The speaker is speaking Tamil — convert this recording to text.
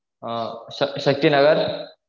ஆஹ் சக்தி சக்தி நகர்